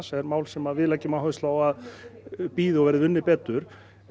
er mál sem við leggjum áherslu á að bíði og verði unnið betur